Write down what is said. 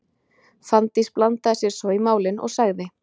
Fanndís blandaði sér svo í málin og sagði: